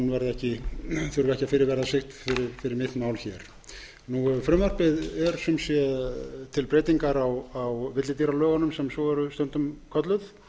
þurfi ekki að fyrirverða sig fyrir mitt mál frumvarpið er sem sé til breytingar á villidýralögunum sem svo eru stundum kölluð